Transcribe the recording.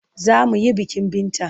Za mu he bikin Binta.